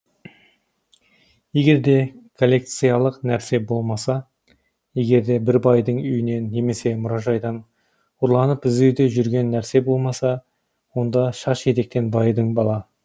егерде коллекциялық нәрсе болмаса егерде бір байдың үйінен немесе мұражайдан ұрланып іздеуде жүрген нәрсе болмаса онда шаш етектен байыдың бала